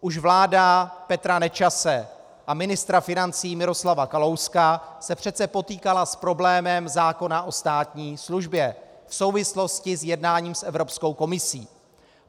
Už vláda Petra Nečase a ministra financí Miroslava Kalouska se přece potýkala s problémem zákona o státní službě v souvislosti s jednáním s Evropskou komisí.